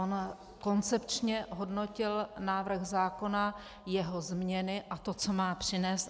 On koncepčně hodnotil návrh zákona, jeho změny a to, co má přinést.